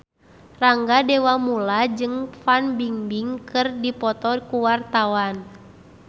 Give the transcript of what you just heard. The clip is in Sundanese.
Rangga Dewamoela jeung Fan Bingbing keur dipoto ku wartawan